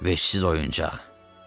"Vəhşsiz oyuncaq.